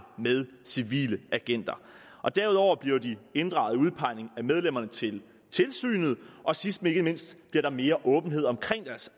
med civile agenter derudover bliver de inddraget i udpegningen af medlemmerne til tilsynet og sidst men ikke mindst bliver der mere åbenhed omkring deres